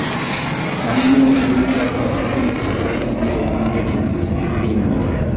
әңгіме оның өлуге айналғанында емес өлгісі келетінінде де емес деймін мен